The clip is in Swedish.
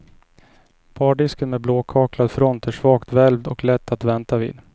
Bardisken med blåkaklad front är svagt välvd och lätt att vänta vid.